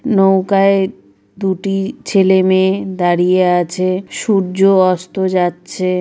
নৌকায় দুটি ছেলেমেয়ে দাঁড়িয়ে আছে সূর্য অস্ত যাচ্ছে।